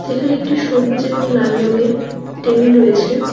যেখানে একটি সবুজ এবং লাল রঙের টেবিল রয়েছে।